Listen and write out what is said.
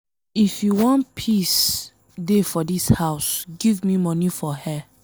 If you wan make peace dey for dis house give me money for hair?